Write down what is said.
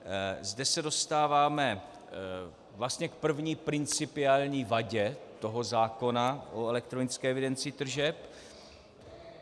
Zde se dostáváme vlastně k první principiální vadě toho zákona o elektronické evidenci tržeb.